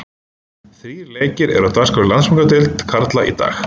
Þrír leikir eru á dagskrá í Landsbankadeild karla í dag.